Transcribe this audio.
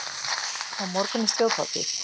Á morgun er þjóðhátíð.